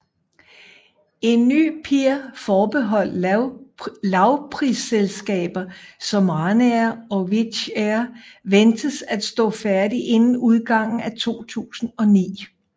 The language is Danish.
En ny pier forbeholdt lavprisselskaber som Ryanair og Wizz Air ventes at stå færdig inden udgangen af 2009